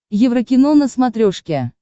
еврокино на смотрешке